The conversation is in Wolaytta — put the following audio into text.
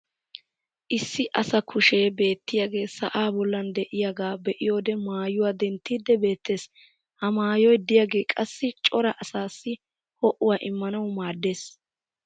issi asaa kushee beettiyage sa"aa bollan diyaagaa be'iyoode maayuwaa denttiiddi beettees. ha mayyoy diyaagee qassi cora asaassii ho'uwaa immanawu maaddees.